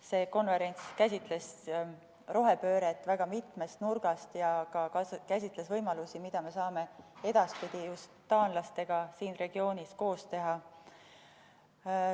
See konverents käsitles rohepööret väga mitmest nurgast, samuti võimalusi, mida me saame edaspidi just taanlastega siin regioonis koos teha.